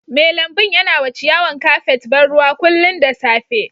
Mai lambun ya na wa ciyawan kafet ban ruwa kullum da safe.